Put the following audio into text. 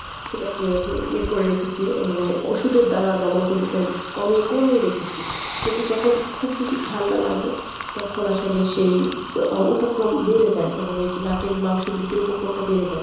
সেটাকে ইয়ে করে রেখেছি মানে ওষুধের দ্বারা দমন করে কমে~ কমিয়ে রেখেছি। কিন্তু যখন খুব বেশি ঠান্ডা লাগে তখন আসলে সেই আহ উপক্রম বেড়ে যায় তখন এইযে নাকের মাংস ‍বৃদ্ধির উপক্রমটা বেড়ে যায়।